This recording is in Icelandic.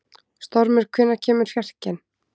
Stormur, hvenær kemur fjarkinn?